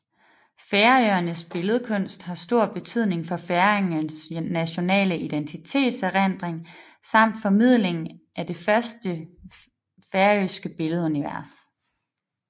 Færøernes billedkunst har stor betydning for færingernes nationale identitets erindring samt formidling af det færøske billedunivers